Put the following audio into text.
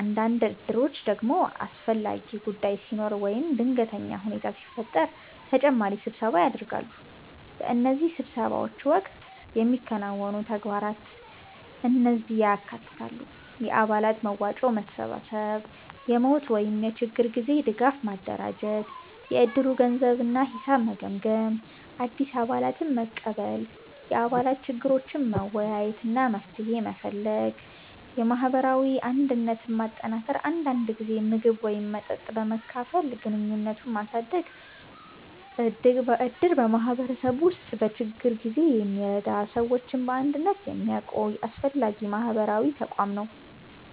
አንዳንድ እድሮች ደግሞ አስፈላጊ ጉዳይ ሲኖር ወይም ድንገተኛ ሁኔታ ሲፈጠር ተጨማሪ ስብሰባ ያደርጋሉ። በእነዚህ ስብሰባዎች ወቅት የሚከናወኑ ተግባራት እነዚህን ያካትታሉ፦ የአባላት መዋጮ መሰብሰብ የሞት ወይም የችግር ጊዜ ድጋፍ ማደራጀት የእድሩን ገንዘብ እና ሂሳብ መገምገም አዲስ አባላትን መቀበል የአባላት ችግሮችን መወያየት እና መፍትሄ መፈለግ የማህበራዊ አንድነትን ማጠናከር አንዳንድ ጊዜ ምግብ ወይም መጠጥ በመካፈል ግንኙነትን ማሳደግ እድር በማህበረሰቡ ውስጥ በችግር ጊዜ የሚረዳ እና ሰዎችን በአንድነት የሚያቆይ አስፈላጊ ማህበራዊ ተቋም ነው።